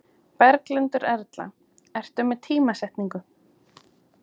Berghildur Erla: Ertu með tímasetningu?